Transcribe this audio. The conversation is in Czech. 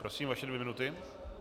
Prosím, pouze dvě minuty.